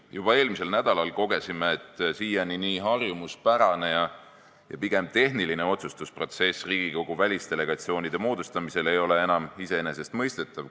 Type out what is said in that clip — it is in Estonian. Juba eelmisel nädalal kogesime, et siiani nii harjumuspärane ja pigem tehniline otsustusprotsess Riigikogu välisdelegatsioonide moodustamisel ei ole enam iseenesestmõistetav.